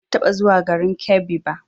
Ban taɓa zuwa garin Kebbi ba